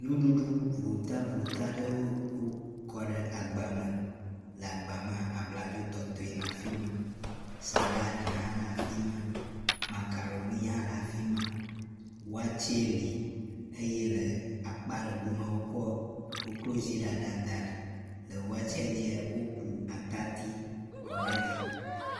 Nuɖuɖu votavota ɖewo wokɔ ɖe agba me. Le agba mea, abladzotɔtoe le afi ma, salad hã le afi ma, macaroni hã le afi ma, wakye li eye le akpa ɖe gomea wokɔ kokloziɖaɖa da ɖi le. Wakyea dzia woku atadi kɔ ɖe edzi.